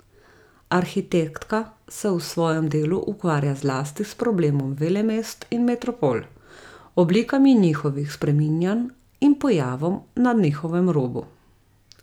Arhitektka se v svojem delu ukvarja zlasti s problemom velemest in metropol, oblikami njihovih spreminjanj in pojavom na njihovem robu.